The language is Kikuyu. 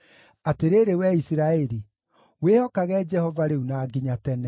Atĩrĩrĩ wee Isiraeli, wĩhokage Jehova rĩu na nginya tene.